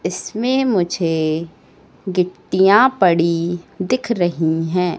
इसमें मुझे गिट्टियां पड़ी दिख रही है।